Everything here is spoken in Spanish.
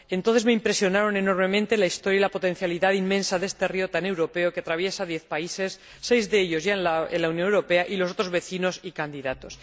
Entonces me impresionaron enormemente la historia y la potencialidad inmensa de este río tan europeo, que atraviesa diez países, seis de ellos ya en la Unión Europea y los otros vecinos y candidatos.